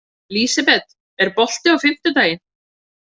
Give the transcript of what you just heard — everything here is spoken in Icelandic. Lísebet, er bolti á fimmtudaginn?